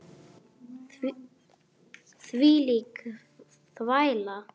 Hvílík þvæla.